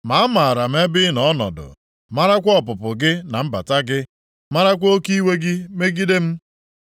“Ma amaara m ebe ị nọ ọnọdụ, marakwa ọpụpụ gị na mbata gị, marakwa oke iwe gị megide m.